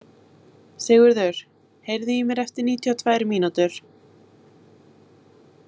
Sigurður, heyrðu í mér eftir níutíu og tvær mínútur.